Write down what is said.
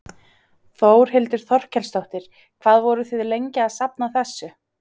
Þórhildur Þorkelsdóttir: Hvað voruð þið lengi að safna þessu?